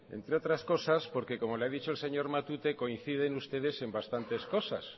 entre otras cosas porque como le ha dicho el señor matute coinciden ustedes en bastantes cosas